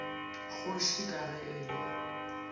kgoši ka ge e le